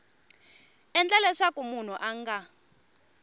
endla leswaku munhu a nga